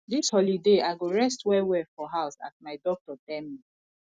dis holiday i go rest wellwell for house as my doctor tell me